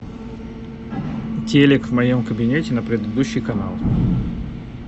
телик в моем кабинете на предыдущий канал